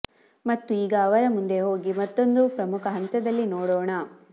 ಮತ್ತು ಈಗ ಅವರ ಮುಂದೆ ಹೋಗಿ ಮತ್ತೊಂದು ಪ್ರಮುಖ ಹಂತದಲ್ಲಿ ನೋಡೋಣ